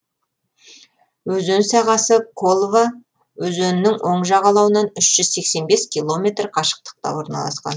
өзен сағасы колва өзенінің оң жағалауынан үш жүз сексен бес километр қашықтықта орналасқан